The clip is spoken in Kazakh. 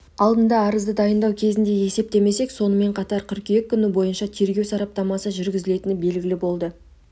алдында арызды дайындау кезінде есептемек сонымен қатар қыркүйек күні бойынша тергеу сараптамасы жүргізілетіні белгілі болды